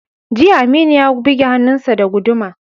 Jiya, Aminu ya buge hannunsa da guduma.